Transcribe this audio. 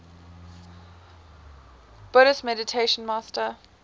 buddhist meditation master